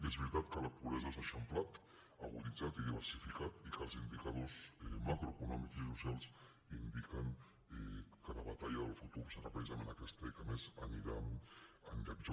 és veritat que la pobresa s’ha eixamplat aguditzat i diversificat i que els indicadors macroeconòmics i socials indiquen que la batalla del futur serà precisament aquesta i que a més anirà a pitjor